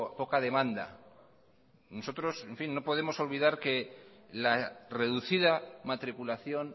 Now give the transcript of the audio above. poca demanda nosotros en fin no podemos olvidar que la reducida matriculación